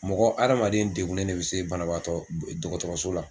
Mɔgɔ adamaden degunnen de bɛ se banabaatɔ dɔgɔtɔrɔso la.